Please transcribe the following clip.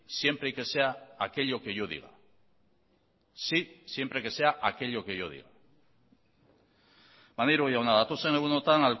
siempre que sea aquello que yo diga maneiro jauna datozen egunetan